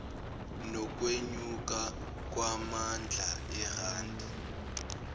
nokwenyuka kwamandla erandi